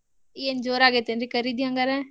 ಏನ್ ಜೋರ್ ಆಗೇತ್ ಏನ್ರೀ ಖರೀದಿ ಹಂಗಾರ?